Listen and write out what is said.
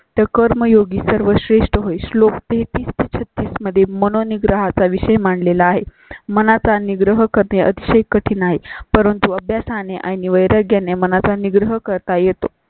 तर कर्मयोगी सर्वश्रेष्ठ होईल. श्लोक ते-तीस -छत्तीस मध्ये म्हणोनि ग्राहकां विषयी मांडलेला आहे. मनाचा निग्रह करणे अतिशय कठीण नाही परंतु अभ्यासाने आणि वैराग्याने मना चा निग्रह कर तायेत.